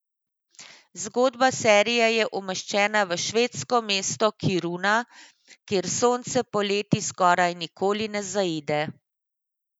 Zgodba serije je umeščena v švedsko meste Kiruna, kjer sonce poleti skoraj nikoli ne zaide.